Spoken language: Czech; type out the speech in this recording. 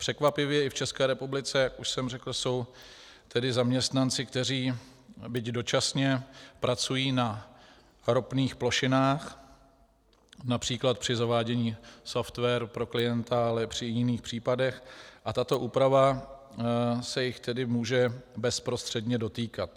Překvapivě i v České republice, jak už jsem řekl, jsou tedy zaměstnanci, kteří, byť dočasně, pracují na ropných plošinách, například při zavádění softwaru pro klienta, ale i při jiných případech, a tato úprava se jich tedy může bezprostředně dotýkat.